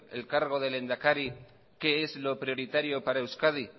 el cargo de lehendakari qué es lo prioritario para euskadi